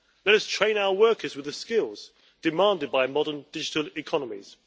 Let us train our workers with the skills demanded by modern digital economies.